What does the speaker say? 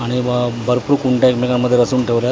आणि व भरपूर कुंड्या एकमेकांमध्ये रचून ठेवल्यात आणि हे--